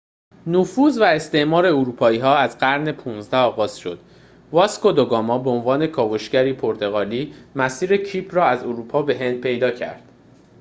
نفوذ و استعمار اروپایی‌ها از قرن ۱۵ آغاز شد واسکو دو گاما به عنوان کاوشگری پرتغالی مسیر کیپ را از اروپا به هند پیدا کرد